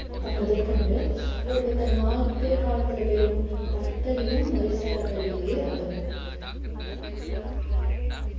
முதற்கொண்டு ஒருவர் தன் வாழ்க்கை காலத்துல பெறும் பட்டறிவும் முறைசார கல்வியிலேயே அடங்கும்